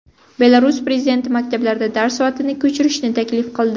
Belarus prezidenti maktablarda dars soatini ko‘chirishni taklif qildi.